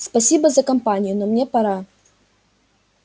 спасибо за компанию но мне пора